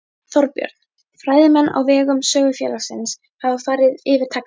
Þorbjörn: Fræðimenn á vegum Sögufélagsins hafa farið yfir textann?